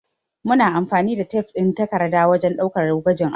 Muna amfani da tef ɗin takarda wajen ɗaukar gwajin abubuwa